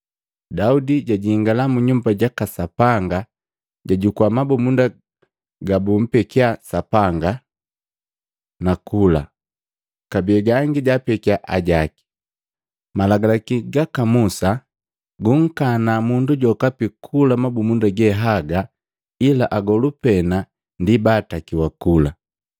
Daudi jajingala mu Nyumba jaka Sapanga, jajukua mabumunda gabumpekya Sapanga, nakula. Kabee gangi jaapekya ajaki. Malagalaki gaka Musa gunkana mundu jokapi kula mabumunda ge haga ila agolu pena ndi baatakiwa kula.”